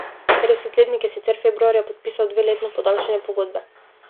Petdesetletnik je sicer februarja podpisal dveletno podaljšanje pogodbe.